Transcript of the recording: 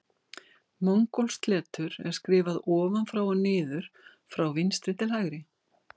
Mongólskt letur er skrifað ofan frá og niður frá vinstri til hægri.